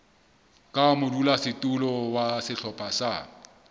ka modulasetulo wa sehlopha sa